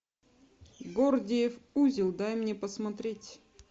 гордиев узел дай мне посмотреть